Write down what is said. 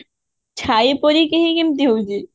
ଛାଇ ପରି କେହି କେମିତି ହଉଛି